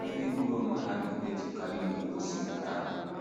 Ihe ndị gburu onwe ha na - edetukarị na - egosi nke ahụ.